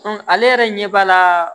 ale yɛrɛ ɲɛ b'a la